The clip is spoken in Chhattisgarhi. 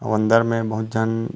अऊ अंदर में बहुत झन--